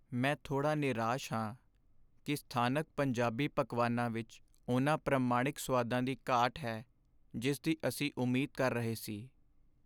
ਮੈਂ ਥੋੜ੍ਹਾ ਨਿਰਾਸ਼ ਹਾਂ ਕਿ ਸਥਾਨਕ ਪੰਜਾਬੀ ਪਕਵਾਨਾਂ ਵਿੱਚ ਉਨ੍ਹਾਂ ਪ੍ਰਮਾਣਿਕ ਸੁਆਦਾਂ ਦੀ ਘਾਟ ਹੈ ਜਿਸ ਦੀ ਅਸੀਂ ਉਮੀਦ ਕਰ ਰਹੇ ਸੀ।